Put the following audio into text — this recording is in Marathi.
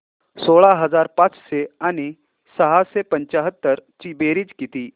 सोळा हजार पाचशे आणि सहाशे पंच्याहत्तर ची बेरीज किती